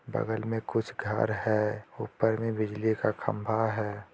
बगल मे कुछ घर है ऊपर में बिजली का खंबा है।